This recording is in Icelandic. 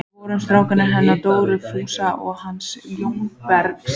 Við vorum strákarnir hennar Dóru Fúsa og hans Jóa Berg.